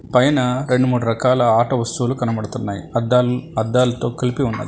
పైన రెండు మూడు రకాల ఆట వస్తువులు కనబడుతున్నాయి అద్దాలు అద్దాలతో కలిపి ఉన్నాయి.